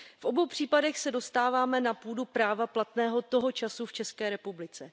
V obou případech se dostáváme na půdu práva platného toho času v České republice.